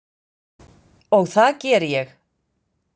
Og það geri ég.